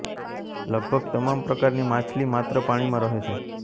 લગભગ તમામ પ્રકારની માછલી માત્ર પાણીમાં રહે છે